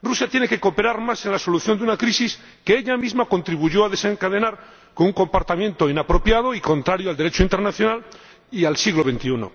Rusia tiene que cooperar más en la solución de una crisis que ella misma contribuyó a desencadenar con un comportamiento inapropiado y contrario al Derecho internacional y al siglo XXI.